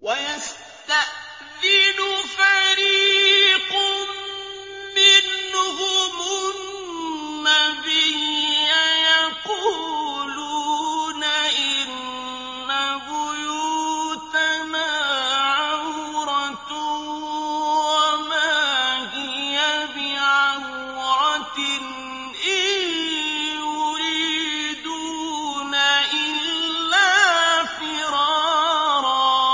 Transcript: وَيَسْتَأْذِنُ فَرِيقٌ مِّنْهُمُ النَّبِيَّ يَقُولُونَ إِنَّ بُيُوتَنَا عَوْرَةٌ وَمَا هِيَ بِعَوْرَةٍ ۖ إِن يُرِيدُونَ إِلَّا فِرَارًا